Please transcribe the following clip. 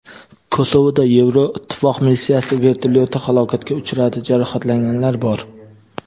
Kosovoda Yevroittifoq missiyasi vertolyoti halokatga uchradi: jarohatlanganlar bor.